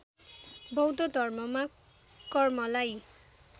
बौद्ध धर्ममा कर्मलाई